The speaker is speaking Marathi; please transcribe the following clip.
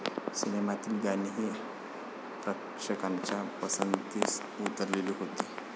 सिनेमातील गाणीही प्रेक्षकांच्या पसंतीस उतरली होती.